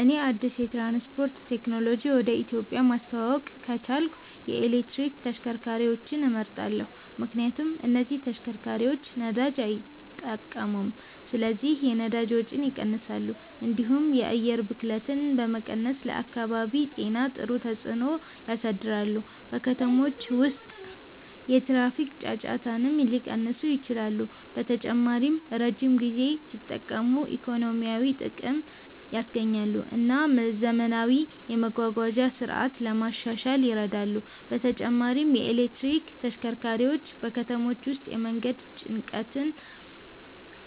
እኔ አዲስ የትራንስፖርት ቴክኖሎጂ ወደ ኢትዮጵያ ማስተዋወቅ ከቻልኩ የኤሌክትሪክ ተሽከርካሪዎችን እመርጣለሁ። ምክንያቱም እነዚህ ተሽከርካሪዎች ነዳጅ አይጠቀሙም ስለዚህ የነዳጅ ወጪን ይቀንሳሉ፣ እንዲሁም የአየር ብክለትን በመቀነስ ለአካባቢ ጤና ጥሩ ተጽዕኖ ያሳድራሉ። በከተሞች ውስጥ የትራፊክ ጫጫታንም ሊቀንሱ ይችላሉ። በተጨማሪም ረጅም ጊዜ ሲጠቀሙ ኢኮኖሚያዊ ጥቅም ያስገኛሉ እና ዘመናዊ የመጓጓዣ ስርዓት ለማሻሻል ይረዳሉ። በተጨማሪም የኤሌክትሪክ ተሽከርካሪዎች በከተሞች ውስጥ የመንገድ ጭንቀትን